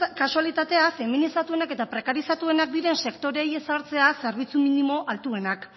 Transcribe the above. kasualitatea feminizatuenak eta prekarizatuenak diren sektoreei ezartzea zerbitzu minimo altuenak